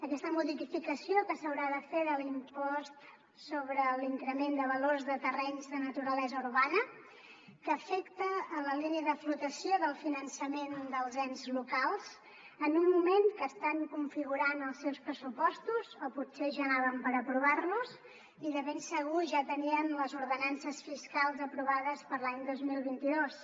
aquesta modificació que s’haurà de fer de l’impost sobre l’increment de valor de terrenys de naturalesa urbana que afecta la línia de flotació del finançament dels ens locals en un moment que estan configurant els seus pressupostos o potser ja anaven per aprovar los i de ben segur ja tenien les ordenances fiscals aprovades per a l’any dos mil vint dos